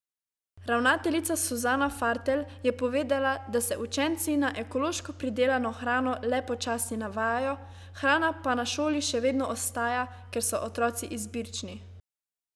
Ravnateljica Suzana Fartelj je povedala, da se učenci na ekološko pridelano hrano le počasi navajajo, hrana pa na šoli še vedno ostaja, ker so otroci izbirčni.